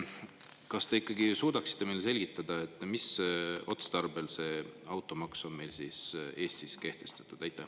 Kas te nüüd suudaksite meile selgitada, mis otstarbel on automaks Eestis kehtestatud?